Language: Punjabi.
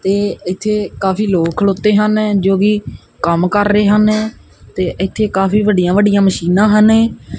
ਤੇ ਇੱਥੇ ਕਾਫੀ ਲੋਕ ਖੜੋਤੇ ਹਨ ਜੋ ਕਿ ਕੰਮ ਕਰ ਰਹੇ ਹਨ ਤੇ ਇੱਥੇ ਕਾਫੀ ਵੱਡੀਆਂ ਵੱਡੀਆਂ ਮਸ਼ੀਨਾਂ ਹਨ।